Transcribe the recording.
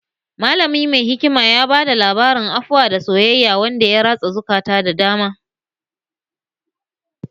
Malamin mai hikima ya bada labarin afuwa da soyayya wanda ya ratsa zukata da dama